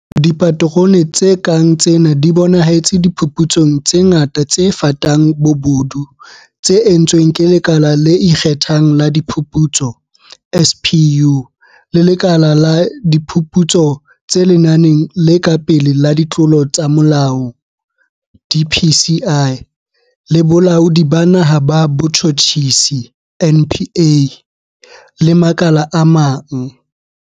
Dipaterone tse kang tsena di bonahetse diphuputsong tse ngata tse fatang bobodu tse entsweng ke Lekala le Ikge thang la Diphuputso, SPU, le Lekala la Diphuputso tse Lenaneng le Ka Pele la Ditlolo tsa Molao, DPCI, le Bolaodi ba Naha ba Botjhutjhisi, NPA, le makala a mang.